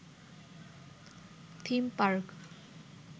theme park